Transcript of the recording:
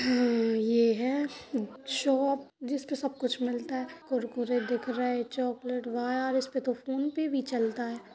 हम्म्म यह है शॉप जिस पर सब कुछ मिलता है कुरकुरे दिख रहा है एक चॉकलेट वाह इस्पे तो फोनपे भी चलता है।